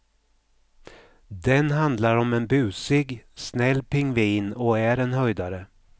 Den handlar om en busig, snäll pingvin och är en höjdare.